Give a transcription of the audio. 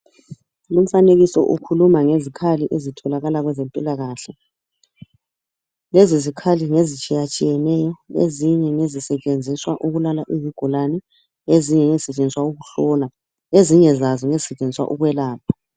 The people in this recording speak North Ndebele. Lumfanekiso ukhuluma ngezikhali ezitholakala kwezempilakahle. Lezi zikhali ngezitshiyatshiyeneyo ezinye zisebenziswa ukulala ubugulane, ezinye ngezisetshenziswa ukuhlola, ezinye lazo zisebenzisa ukwelapha.